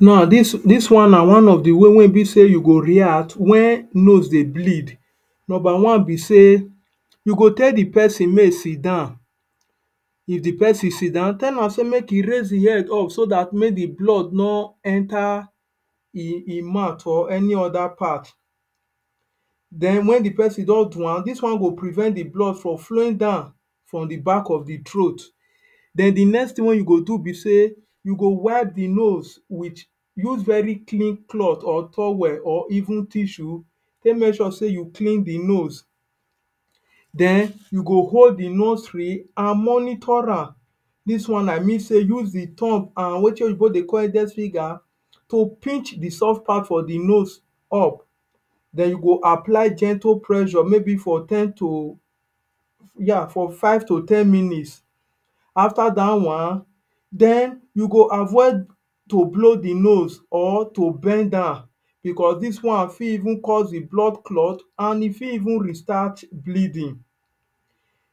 Now, dis one na one of the ways wey be sey you go react wen nose dey bleed. Nomba one be sey you go tell the peson make e sit down. If the peson sit down, tell am sey make e raise the head up so dat make the blood no enter hin hin mouth or any other part. Then wen the peson don do am, dis one go prevent the blood from flowing down the back of the throat. Then the next tin wey you go do be sey you go wipe the nose with use very clean cloth or towel or even tissue take make sure sey you clean the nose. Then you go hold the nostriy and monitor am. Dis one na mean sey use the thumb an wetin oyinbo dey call index finger to pinch the soft part for the nose up. Then you go apply gentle presure maybe for ten to yeah for five to ten minutes. After dat one, then you go avoid to blow the nose or to bend am becos dis one fit even cause the blood clot an e fit even restart bleeding.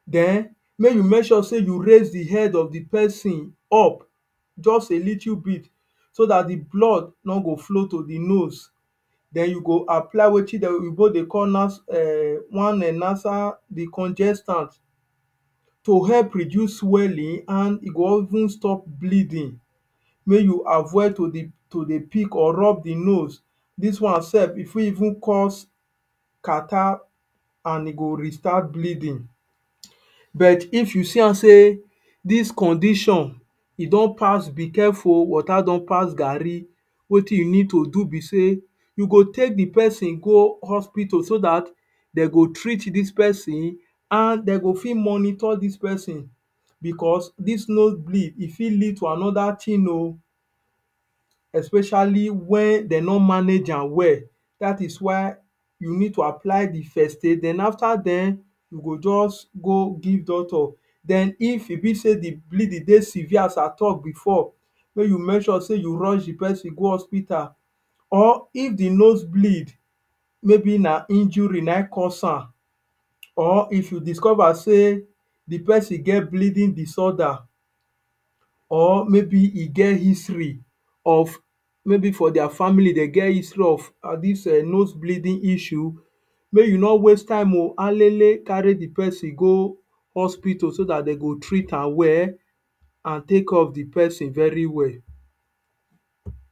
Then make you make sure sey you raise the head of the peson up just a little bit so dat the blood no go flow to the nose. Then you go apply wetin the oyinbo dey call um one um nasal decongestant to help reduce swelling an e go even stop bleeding. Make you avoid to de dey pick or rub the nose. Dis one sef, e fit even cause catarrh an e go restart bleeding. But if you see am sey dis condition e don pass be careful oh, water don pass garri, wetin you need to do be sey you go take the peson go hospital so dat dey go treat dis peson an dey go fit go fit monitor dis peson, becos dis nose bleed, e fit lead to another tin oh especially wen dey no manage am well That is why you need to apply the first aid. Then after then, you go juz go give doctor. Then if e be sey the bleeding dey severe as I talk before, make you make sure sey you rush the peson go hospital. Or if the nose bleed maybe na injury na ein cause am, or if you discover sey the peson get bleeding disorder, or maybe e get history of maybe for dia family de get history of dis um nose bleeding issue, make you no waste time oh. Alele, carry the peson go hospital so dat de go treat am well, an take care of the peson very well.